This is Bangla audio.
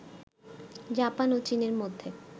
জাপান ও চীনের মধ্যে